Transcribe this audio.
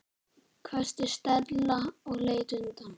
hvæsti Stella og leit undan.